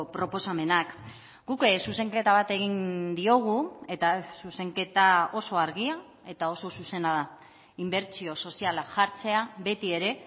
proposamenak guk zuzenketa bat egin diogu eta zuzenketa oso argia eta oso zuzena da inbertsio soziala jartzea beti ere